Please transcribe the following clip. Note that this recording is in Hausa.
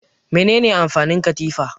Mene ne amfanin katifa?